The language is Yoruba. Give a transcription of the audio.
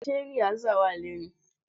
Ṣé rìásà wá lónìí?